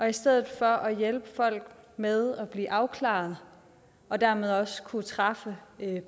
i stedet for at hjælpe folk med at blive afklaret og dermed også kunne træffe